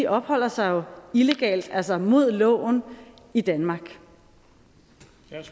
opholder sig illegalt altså imod loven i danmark